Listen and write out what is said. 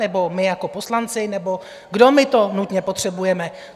Nebo my jako poslanci, nebo kdo my to nutně potřebujeme?